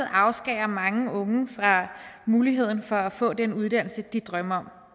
afskærer mange unge fra muligheden for at få den uddannelse de drømmer